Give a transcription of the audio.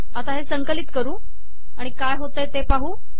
आता हे संकलित करू आणि काय होते ते पाहू